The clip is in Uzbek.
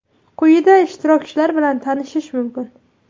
Quyida ishtirokchilar bilan tanishish mumkin.